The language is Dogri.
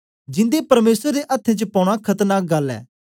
जिंदे परमेसर दे अथ्थें च पौना खतरनाक गल्ल ऐ